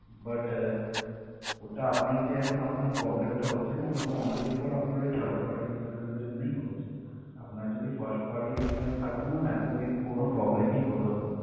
But ah ওটা আপনার যে এখন আপনার problem টা হচ্ছে ma'am ওটা only for আপনার third party insurance এর জন্য হচ্ছে আপনার যদি first party insurance থাকতো ma'am এত কিন্তু কোন problem ই হতো না